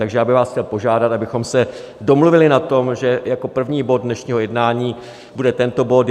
Takže já bych vás chtěl požádat, abychom se domluvili na tom, že jako první bod dnešního jednání bude tento bod.